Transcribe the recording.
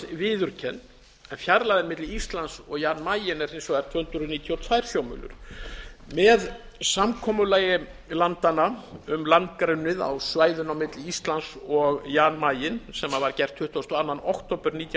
viðurkennd en fjarlægðin milli íslands og jan mayen er hins vegar tvö hundruð níutíu og tvö sjómílur með samkomulagi landanna um landgrunnið á svæðinu milli íslands og jan mayen sem var gert tuttugasta og önnur október nítján